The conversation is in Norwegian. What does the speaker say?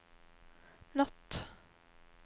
natt